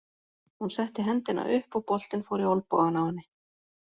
Hún setti hendina upp og boltinn fór í olnbogann á henni.